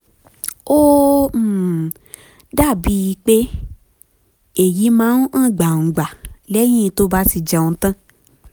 ó um dàbíi um pé èyí máa ń hàn gbangba lẹ́yìn tó bá ti um jẹun tán